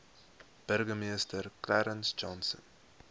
burgemeester clarence johnson